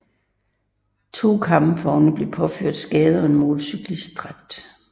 To kampvogne blev påført skader og en motorcyklist dræbt